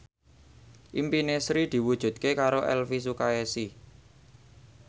impine Sri diwujudke karo Elvi Sukaesih